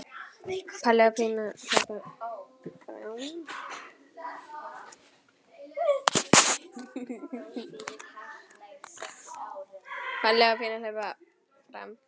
Palli og Pína hlaupa fram.